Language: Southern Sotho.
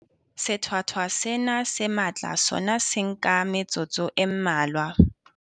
Sethwathwa sena se matla sona se nka metsotso e mmalwa.